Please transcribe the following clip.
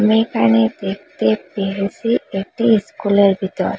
আমি এখানে দেখতে পেরেসি একটি ইস্কুলের বিতর।